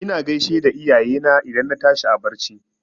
Ina gaishe da iyayena idan na tashi a barci.